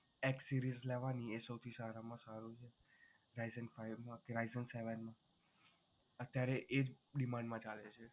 x series લેવાની એ સૌથી સારામાં સારું છે. Ryzen five કે Ryzen seven અત્યારે એ જ demand માં ચાલે છે